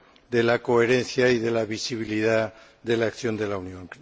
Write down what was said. de la coherencia y de la visibilidad de la acción de la Unión.